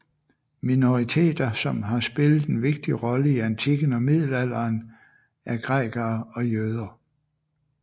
Minoriteter som har spillet en vigtig rolle i antikken og middelalderen er grækere og jøder